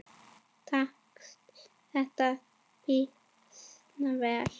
Tókst þetta býsna vel.